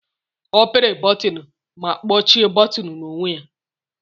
Ọ pịri bọtịnụ ma kpọchie buutu n'onwe ya.